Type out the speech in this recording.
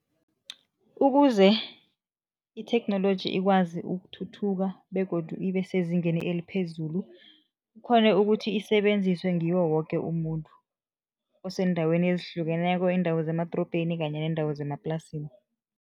Ukuze itheknoloji ikwazi ukuthuthuka begodu ibe sezingeni eliphezulu, ikghone ukuthi isebenziswe ngiwo woke umuntu, oseendaweni ezihlukeneko, iindawo zemadorobheni kanye neendawo zemaplasini.